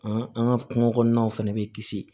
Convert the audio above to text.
An an ka kungo kɔnɔnaw fɛnɛ be kisi